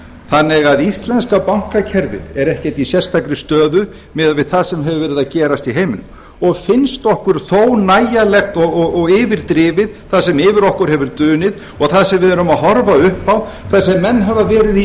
þannig að íslenska bankakerfið er ekkert í sérstakri stöðu miðað við það sem hefur verið að gerast í heiminum og finnst okkur þó nægjanlegt og yfirdrifið það sem yfir okkur hefur dunið og það sem við erum að horfa upp á þar sem menn hafa verið í